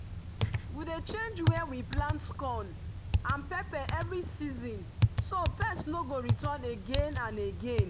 we dey change where we plant corn and pepper every season so pests no go return again and again.